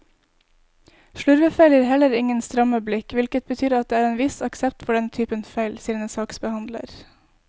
Slurvefeil gir heller ingen stramme blikk, hvilket betyr at det er en viss aksept for denne typen feil, sier en saksbehandler.